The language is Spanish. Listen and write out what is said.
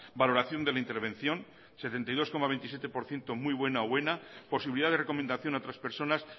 valoración de la intervención setenta y dos coma veintisiete por ciento muy buena o buena posibilidad de recomendación a otras personas